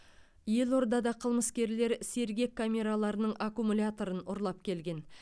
елордада қылмыскерлер сергек камераларының аккумуляторын ұрлап келген